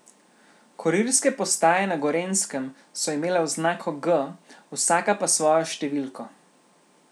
Kurirske postaje na Gorenjskem so imele oznako G, vsaka pa svojo številko.